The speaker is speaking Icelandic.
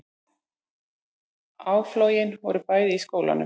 Áflogin voru bæði í skólanum